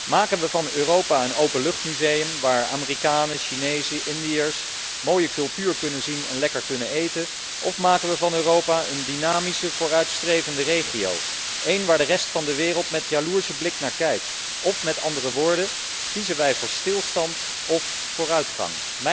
Maken we van Europa een openluchtmuseum waar Amerikanen, Chinezen, Indiërs, mooie cultuur kunnen zien en lekker kunnen eten of maken we van Europa een dynamische vooruitstrevende regio, een waar de rest van de wereld met jaloerse blik naar kijkt? Of met andere woorden, kiezen wij voor stilstand of vooruitgang?